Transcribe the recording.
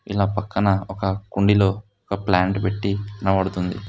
పక్కన ఒక కుండీలో ఒక ప్లాంట్ పెట్టి కనబడుతుంది.